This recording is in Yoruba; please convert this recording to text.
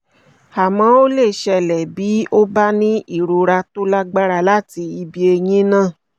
àmọ́ ó lè ṣẹlẹ̀ bí o bá ní ìrora tó lágbára láti ibi eyín náà